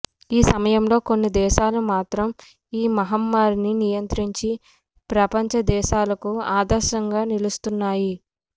ఈ సమయంలో కొన్ని దేశాలు మాత్రం ఈ మహమ్మారిని నియంత్రించి ప్రపంచ దేశాలకు ఆదర్శంగా నిలుస్తున్నాయి